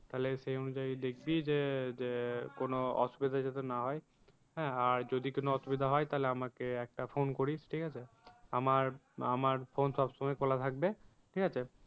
তাহলে সেই অনুযায়ী দেখিবি যে যে কোনো অসুবিধা যাতে না হয়। হ্যাঁ আর যদি কোনো অসুবিধা হয় তাহলে আমাকে একটা phone করিস ঠিক আছে। আমার, আমার phone সব সময় খোলা থাকবে ঠিক আছে